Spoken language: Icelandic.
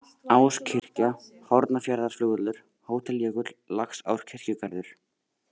Áskirkja, Hornafjarðarflugvöllur, Hótel Jökull, Laxárkirkjugarður